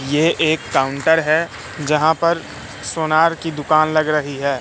ये एक काउंटर है जहां पर सोनार की दुकान लग रही है।